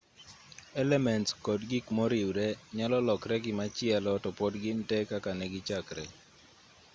elements kod gik moriwre nyalo lokre gimachielo to pod gin tee kaka negichakre